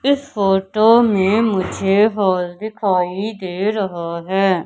इस फोटो में मुझे हॉल दिखाई दे रहा है।